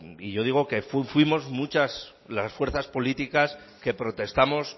y yo digo que fuimos muchas las fuerzas políticas que protestamos